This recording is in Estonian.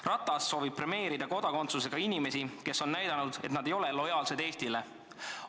Ratas soovib premeerida kodakondsusega inimesi, kes on näidanud, et nad ei ole lojaalsed Eestile.